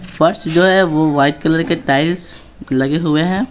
फर्श जो है वो वाइट कलर के टाइल्स लगे हुए हैं।